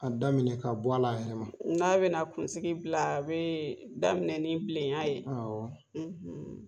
A daminɛ ka bɔ ala a yɛrɛ ma n'a bɛna kunsigi bila a bɛ daminɛ ni bilenya ye